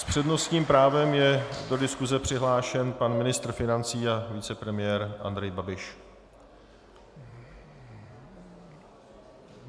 S přednostním právem je do diskuse přihlášen pan ministr financí a vicepremiér Andrej Babiš.